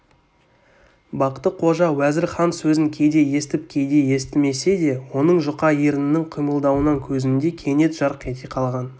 бақты-қожа уәзір хан сөзін кейде естіп кейде естімесе де оның жұқа ернінің қимылдауынан көзінде кенет жарқ ете қалған